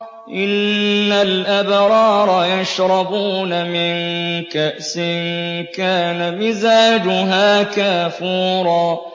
إِنَّ الْأَبْرَارَ يَشْرَبُونَ مِن كَأْسٍ كَانَ مِزَاجُهَا كَافُورًا